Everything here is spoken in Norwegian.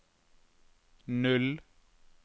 null